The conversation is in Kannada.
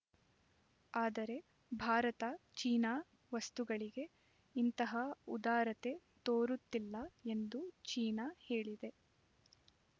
ಆದರೆ ಭಾರತ ಚೀನಾ ವಸ್ತುಗಳಿಗೆ ಇಂತಹ ಉದಾರತೆ ತೋರುತ್ತಿಲ್ಲ ಎಂದು ಚೀನಾ ಹೇಳಿದೆ